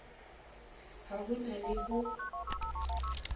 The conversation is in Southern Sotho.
ha ho na le ho